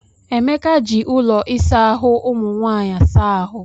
Emeka ji ụlọ ịsa ahụ umụ nwanyị saa ahụ.